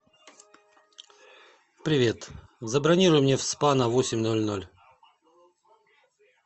привет забронируй мне в спа на восемь ноль ноль